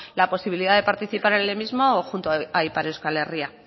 la posibilidad de participar en el mismo o junto a ipar euskal herria